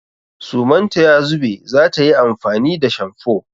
Suman ta ya zube za ta yi amfani da shamfo.